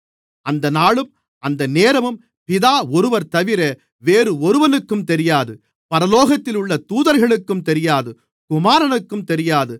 அந்த நாளும் அந்த நேரமும் பிதா ஒருவர்தவிர வேறு ஒருவனுக்கும் தெரியாது பரலோகத்தில் உள்ள தூதர்களுக்கும் தெரியாது குமாரனுக்கும் தெரியாது